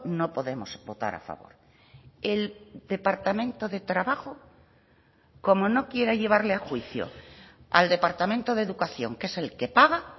no podemos votar a favor el departamento de trabajo como no quiera llevarle a juicio al departamento de educación que es el que paga